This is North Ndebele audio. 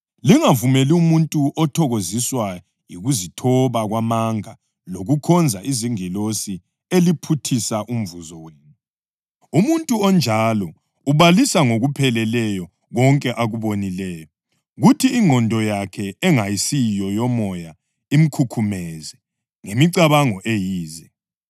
Lingavumeli umuntu othokoziswa yikuzithoba kwamanga lokukhonza izingilosi eliphuthisa umvuzo wenu. Umuntu onjalo ubalisa ngokupheleleyo konke akubonileyo, kuthi ingqondo yakhe engayisiyo yomoya imkhukhumeze ngemicabango eyize.